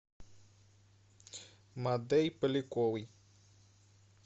мадей поляковой